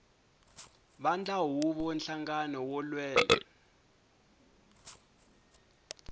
vandla huvo nhlangano wo lwela